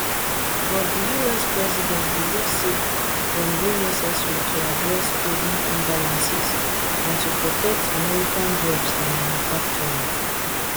but di us president believe say dem dey necessary to address trading imbalances and to protect american jobs and manufacturing